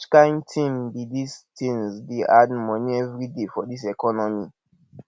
which kain tin be dis tins dey add moni everyday for dis economy